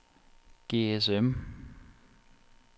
GSM